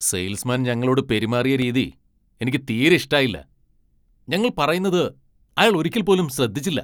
Sales മാൻ ഞങ്ങളോട് പെരുമാറിയ രീതി എനിക്ക് തീരെ ഇഷ്ടായില്ല, ഞങ്ങൾ പറയുന്നത് അയാൾ ഒരിക്കൽ പോലും ശ്രദ്ധിച്ചില്ല.